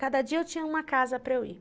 Cada dia eu tinha uma casa para eu ir.